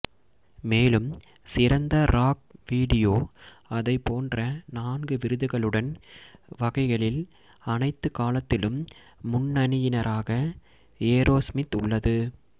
மேலும் சிறந்த rock video அதைப் போன்ற நான்கு விருதுகளுடன் வகைகளில் அனைத்து காலத்திலும் முன்னணியினராக ஏரோஸ்மித் உள்ளது